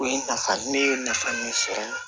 O ye nafa ne ye nafa min sɔrɔ